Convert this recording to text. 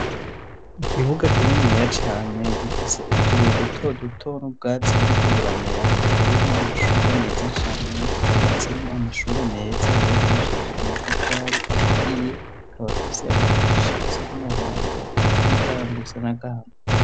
Ikibuga kininiya cane gifise utubuye duto duto n'ubwatsi buriko buramera hateyemwo amashugwe meza cane hubatsemwo amashuri meza yubakishije amatafari aturiye akaba afise amadirisha asa n'umuhondo n' imiryango isa n' agahama.